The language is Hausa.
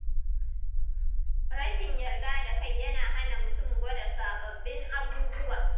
Rashin yarda da kai yana hana mutum gwada sababbin abubuwa